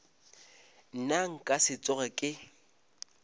nna nka se tsoge ke